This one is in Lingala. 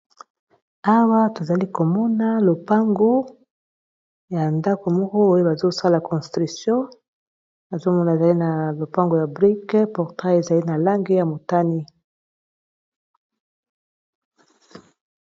awa tozali komona lopango ya ndako moko oyo bazosala construction azomona ezali na lopango ya brik portai ezali na lange ya motani